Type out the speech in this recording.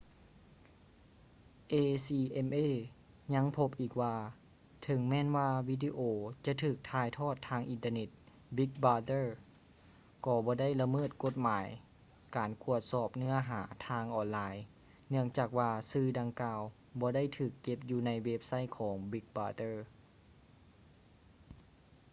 acma ຍັງພົບອີກວ່າ ເຖິງແມ່ນວ່າວິດີໂອຈະຖືກຖ່າຍທອດທາງອິນເຕີເນັດ big brother ກໍບໍ່ໄດ້ລະເມີດກົດໝາຍການກວດສອບເນື້ອຫາທາງອອນລາຍເນື່ອງຈາກວ່າສື່ດັ່ງກ່າວບໍ່ໄດ້ຖືກເກັບຢູ່ໃນເວັບໄຊທ໌ຂອງ big brother